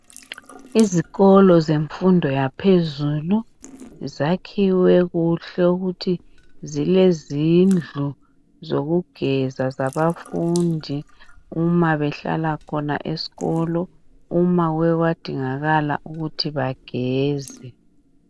Izikolo zemfundo yaphezulu zakhiwe kuhle ukuthi zilezindlu zokugeza zabafundi uma behlala khona esikolo uma kuke kwadingakala ukuthi bageze